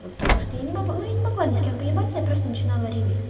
потому что я не могу ну я не могла ни с кем поебаться я просто начинала реветь